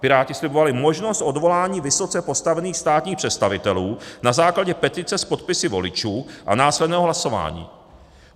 Piráti slibovali možnost odvolání vysoce postavených státních představitelů na základě petice s podpisy voličů a následného hlasování.